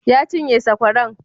Ya cinye sakwaran?